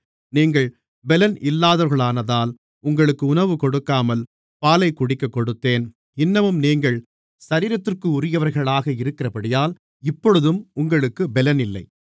நீங்கள் பெலன் இல்லாதவர்களானதால் உங்களுக்கு உணவு கொடுக்காமல் பாலைக் குடிக்கக்கொடுத்தேன் இன்னமும் நீங்கள் சரீரத்திற்குரியவர்களாக இருக்கிறபடியால் இப்பொழுதும் உங்களுக்குப் பெலனில்லை